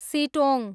Sittong